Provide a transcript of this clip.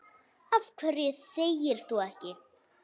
Af hverju þegir þú ekki?